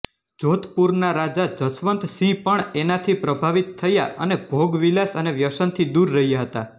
જૉધપુરના રાજા જશવંત સિંહ પણ એનાથી પ્રભાવિત થયા અને ભોગવિલાસ અને વ્યસનથી દૂર રહ્યા હતા